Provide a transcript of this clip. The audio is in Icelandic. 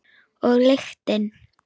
Og lyktin.